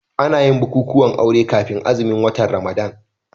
Ana yin bukukuwan aure kafin azumin watan Ramadana.